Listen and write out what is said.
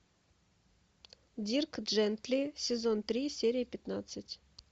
дирк джентли сезон три серия пятнадцать